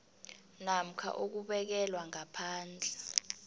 namkha ukubekelwa ngaphandle